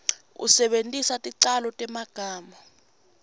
usebentise ticalo temagama